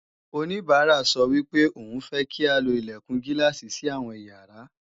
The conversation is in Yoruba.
oníbàárà sọ wípé òun fẹ́ kí a lo Ilẹ̀kùn Gíláàsì sí àwọn ìyàrá